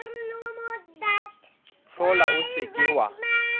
hlola o se ke wa